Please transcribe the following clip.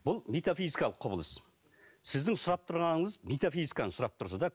бұл метофизикалық құбылыс сіздің сұрап тұрғаныңыз метофизиканы сұрап тұрсыз да